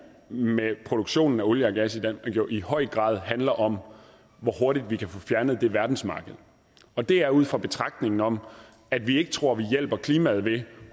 med produktion af olie og gas i høj grad handler om hvor hurtigt vi kan få fjernet det verdensmarked og det er ud fra betragtningen om at vi ikke tror vi hjælper klimaet ved